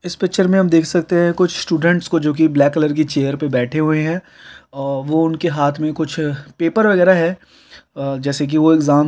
में हम देख सकते हैं कुछ स्टूडेंट्स को जो कि ब्लैक कलर की चेयर पे बैठे हुए हैं औ वो उनके हाथ में कुछ पेपर वगैरा है। अ जैसे कि वो एग्जाम दे रहे हो किसी चीज का।